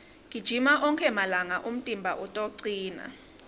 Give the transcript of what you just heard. gijima onkhe malanga umtimba utocina